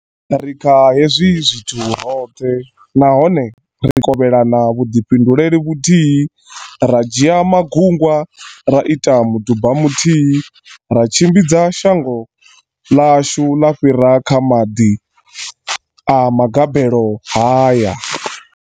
Ri kha hezwi zwithu roṱhe, nahone ri kovhelana vhuḓifhinduleli vhuthihi, ra dzhia magungwa, ra ita muduba muthihi ra tshimbidza shango ḽashu ḽa fhira kha maḓi a magabelo haya.